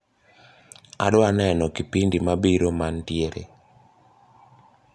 adwa neno kipindi mabiro mantiere